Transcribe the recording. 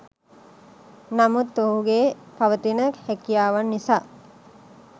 නමුත් ඔහුගේ පවතින හැකියාවන් නිසා